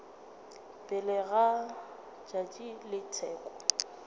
pele ga tšatši la tsheko